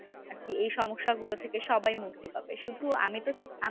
আরকি এই সমস্যাগুলো থেকে সবাই মুক্তি পাবে শুধু আমিতো আমি